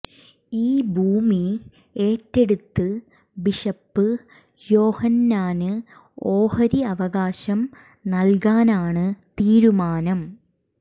ഈ ഭൂമി ഏറ്റെടുത്ത് ബിഷപ്പ് യോഹന്നാന് ഓഹരി അവകാശം നല്കാനാണ് തീരുമാനം